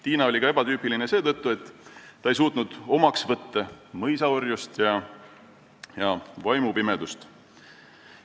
Tiina oli ebatüüpiline ka seetõttu, et ta ei suutnud omaks võtta mõisaorjust ja vaimupimedust.